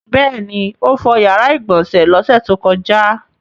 Bẹ́ẹ̀ ni, ó fọ ìyàrá-ìgbọ̀nsẹ̀ lọ́sẹ̀ tó kọjá.